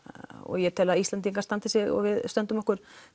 ég tel að Íslendingar standi sig og við stöndum okkar